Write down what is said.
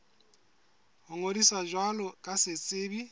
ho ngodisa jwalo ka setsebi